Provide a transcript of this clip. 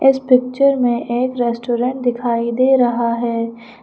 इस पिक्चर में एक रेस्टोरेंट दिखाई दे रहा है।